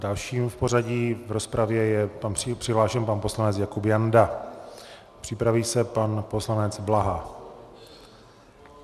Dalším v pořadí v rozpravě je přihlášen pan poslanec Jakub Janda, připraví se pan poslanec Blaha.